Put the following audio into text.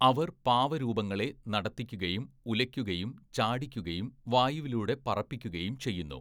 അവർ പാവരൂപങ്ങളെ നടത്തിക്കുകയും ഉലയ്ക്കുകയും ചാടിക്കുകയും വായുവിലൂടെ പറപ്പിക്കുകയും ചെയ്യുന്നു.